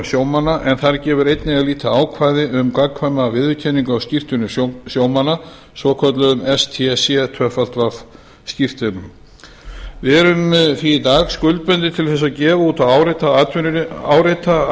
sjómanna en þar gefur einnig að líta ákvæði um gagnkvæma viðurkenningu á skírteinum sjómanna svokölluðum stcw skírteinum við erum því í dag skuldbundin til að gefa út og árétta